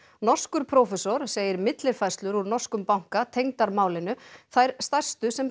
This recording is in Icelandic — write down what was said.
norskur prófessor segir millifærslur úr norskum banka tengdar málinu þær stærstu sem